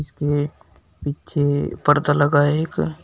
यह पीछे पर्दा लगा है एक।